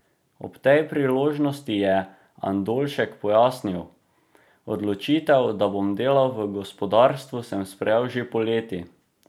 Ob tej priložnosti je Andoljšek pojasnil: "Odločitev, da bom delal v gospodarstvu sem sprejel že poleti.